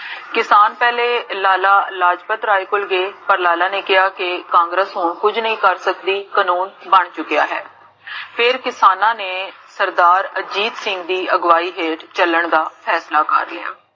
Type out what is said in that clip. ਕਿਸਾਨ ਪਹਲੇ ਲਾਲਾ ਲਾਜਪਤ ਰਾਏ ਕੋਲ ਗਏ, ਲਾਲਾ ਨੇ ਕੇਹਾ ਕੇ ਕਾਂਗਰਸ ਹੁਣ ਕੁਜ ਨਹੀ ਕਰ ਸਕਦੀ ਕਾਨੂਨ ਬਣ ਚੁਕਿਆ ਹੈ ਫੇਰ ਕਿਸਾਨਾ ਨੇ ਸਰਦਾਰ ਅਜੀਤ ਸਿੰਘ ਦੀ ਅਗਵਾਈ ਹੇਠ ਚੱਲਣ ਦਾ ਫੈਸਲਾ ਕਰ ਲਿਆ